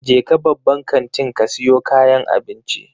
Jeka babban kantin ka siyo kayan abinci.